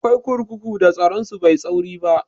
Akwai kurkuku da tsaron su bai da tsauri